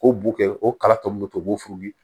K'o bo kɛ o kala tɔ min be to u b'o f'u ye